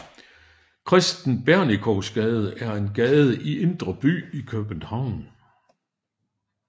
Kristen Bernikows Gade er en gade i Indre By i København